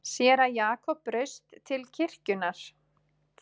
Séra Jakob braust til kirkjunnar.